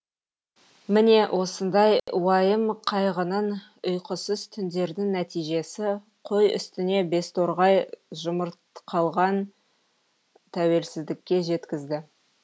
міне осындай уайым қайғының ұйқысыз түндердің нәтижесі қой үстіне безторғай жұмыртқалған тәуелсіздікке жеткізді